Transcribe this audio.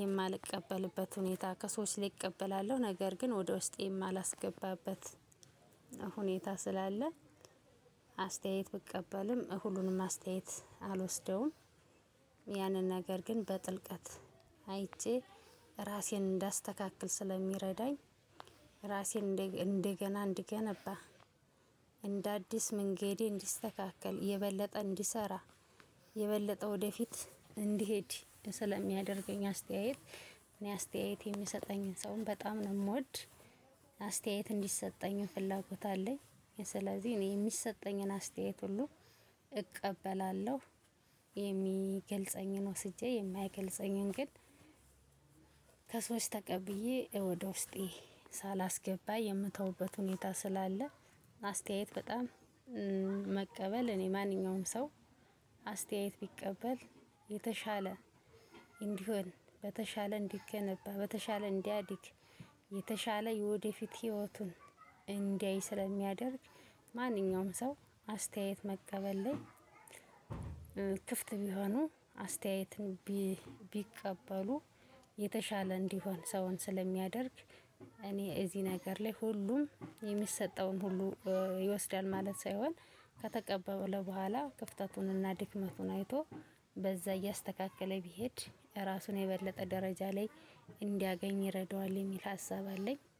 የማልቀበልበት ሁኔታ ከሰዎች እቀበላለሁ ነገር ግን ወደ ውስጤ የማላስገባበት ሁኔታ ስላለ። አስተያየት ብቀበልም ሁሉንም አስተያየት አልወስደውም። ያንን ነገር ግን በጥልቀት አይቼ ራሴን እንዳስተካክል ስለሚረዳኝ። ራሴን እንደገና እንድገነባ እንደ አዲስ መንገዴ እንዲስተካከል የበለጠ እንዲሰራ። የበለጠ ወደፊት እንድሄድ ስለሚያደርገኝ አስተያየት እኔ አስተያየት የምሰጠኝን ሰውም በጣም ነው የምወድ። አስተያየት እንዲሰጠኝ ፍላጎት አለኝ። ስለዚህ እኔ የሚሰጠኝን አስተያየት ሁሉ እቀበላለሁ። የሚገልጸኝን ወስጄ የማይገልጸኝን ግን ከሰዎች ተቀብዬ ወደ ውስጤ ሳላስገባ የምተውበት ሁኔታ ስላለ። አስተያየት በጣም መቀበል እኔ ማንኛውም ሰው አስተያየት ቢቀበል የተሻለ እንዲሆን በተሻለ እንዲገነባ በተሻለ እንዲያድግ። የተሻለ የወደፊት ህይወቱን እንዲያይ ስለሚያደርግ ማንኛውም ሰው አስተያየት መቀበል ላይ። ክፍት ቢሆኑ አስተያየትን ቢቀበሉ የተሻለ እንዲሆን ሰውን ስለሚያደርግ። እኔ እዚህ ነገር ላይ ሁሉም የሚሰጠውን ሁሉ ይወስዳል ማለት ሳይሆን ከተቀበለ ቡሀላ ክፍተቱንና ድክመቱን አይቶ በዛ እያስተካከለ ቢሄድ ራስን የበለጠ ደረጃ ላይ እንዲያገኝ ይረዳዋል የሚል ሀሳብ አለኝ።